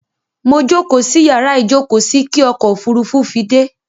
Mo jókóò sí yàrá ìjókóò sí kí ọkò òfurufú fi dẹ́.